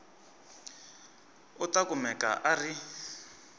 u ta kumeka a ri